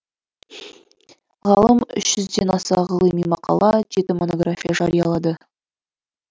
ғалым үш жүзден аса ғылыми мақала жеті монография жариялады